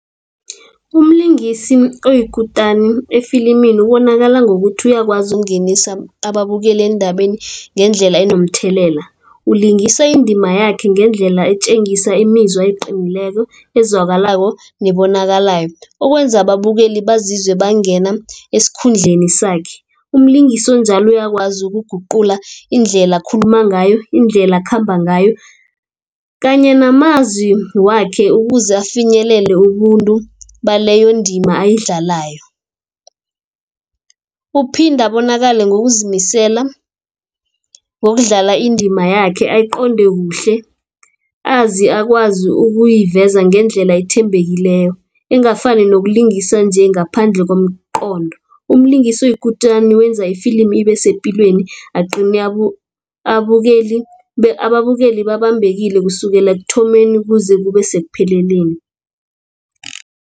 Umlingisi oyikutani efilimini ubonakala ngokuthi uyakwazi ukungenisa ababukeli endabeni ngendlela enomthelela. Ulingisa indima yakhe ngendlela etjengisa imizwa eqinileko, ezwakalako nebonakalayo okwenza ababukeli bazizwe bangena esikhundleni sakhe. Umlingisi onjalo uyakwazi ukuguqula indlela akhuluma ngayo, indlela akhamba ngayo kanye namazwi wakhe ukuze afinyelele ubuntu bala leyo indima abayidlalayo. Uphinde abonakale ngokuzimisela ngokudlala indima yakhe ayiqonde kuhle. Azi akwazi ukuyiveza ngendlela ethembekileko engafani nokulungisa nje ngaphandle komqondo. Umlingisi oyikutani wenza ifilimi ibe sepilweni agcine ababukeli babambekile kusukela ekuthomeni kuze kube sekupheleleni.